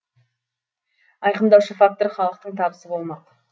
айқындаушы фактор халықтың табысы болмақ